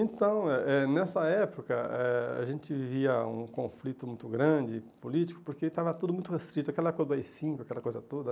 Então, eh eh nessa época, eh a gente via um conflito muito grande político, porque estava tudo muito restrito, aquela coisa do á i cinco, aquela coisa toda.